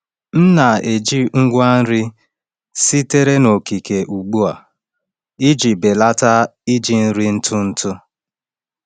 M na-eji ngwa nri sitere n’okike ugbu a iji belata iji nri ntụ ntụ.